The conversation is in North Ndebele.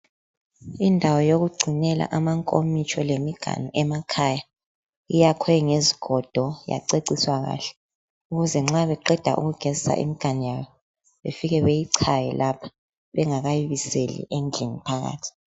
Indawo yokugcinela amankomitsho lemiganu emakhaya. Iyakhwe ngezigodo yaceciswa kahle ukuze nxa beqeda ukugezisa imganu yabo befike beyichaye lapha bengakayibiseli endlini phakathi.